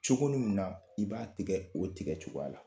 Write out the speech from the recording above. Cogo min na, i b'a tigɛ o tigɛ cogoya la